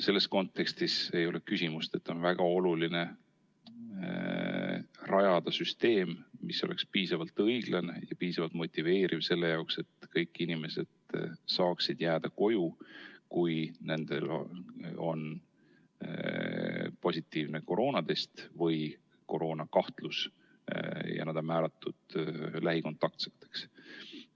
Selles kontekstis ei ole küsimust, kas on oluline rajada süsteem, mis oleks piisavalt õiglane ja piisavalt motiveeriv selle jaoks, et kõik inimesed saaksid jääda koju, kui nende koroonatest on positiivne või neil on koroonakahtlus ja nad on lähikontaktsed.